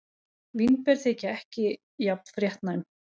Vínber þykja ekki jafn fréttnæm.